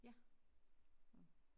Ja så